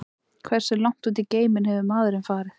Hversu langt út í geiminn hefur maðurinn farið?